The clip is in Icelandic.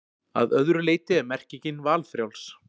Að öðru leyti er merkingin valfrjáls.